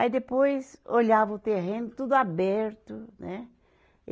Aí depois, olhava o terreno, tudo aberto, né?